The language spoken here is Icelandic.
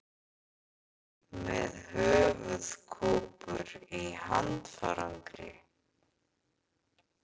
Með höfuðkúpur í handfarangri